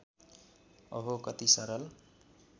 अहो कति सरल